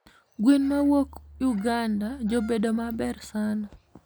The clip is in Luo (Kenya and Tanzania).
Gwen mawuok Uganda jobedo maber sana